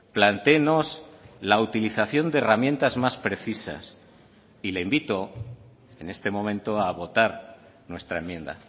plantéenos la utilización de herramientas más precisas y le invito en este momento a votar nuestra enmienda